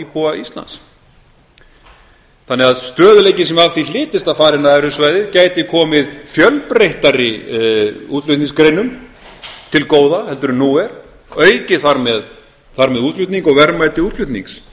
íbúa íslands þannig að stöðugleikinn sem af því hlytist að fara inn á evrusvæðið gæti komið fjölbreyttari útflutningsgreinum meira til góða heldur en nú er aukið þar með útflutning og verðmæti útflutnings